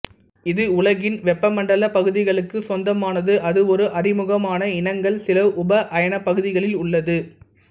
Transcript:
இது உலகின் வெப்ப மண்டல பகுதிகளுக்கு சொந்தமானது அது ஒரு அறிமுகமான இனங்கள் சில உப அயன பகுதிகளில் உள்ளது